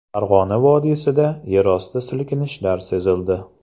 Farg‘ona vodiysida yerosti silkinishlari sezildi.